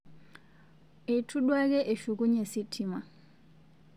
Eitu duake eshukunye sitima